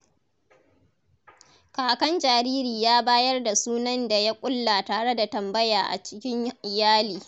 Kakan jariri ya bayar da sunan da ya ƙulla tare da tambaya a cikin iyali.